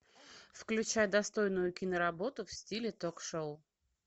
включай достойную киноработу в стиле ток шоу